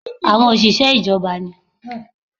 Àwọn òṣìṣẹ́ iná ìjọba ni